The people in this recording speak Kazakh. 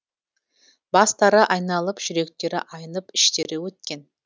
бастары айналып жүректері айнып іштері өткен